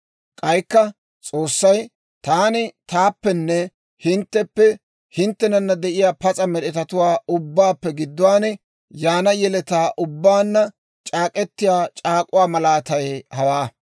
K'aykka S'oossay, «Taani taappenne hintteppe, hinttenana de'iyaa pas'a med'etatuwaa ubbaappe gidduwaan yaana yeletaa ubbaanna c'aak'k'etiyaa c'aak'uwaa malaatay hawaa;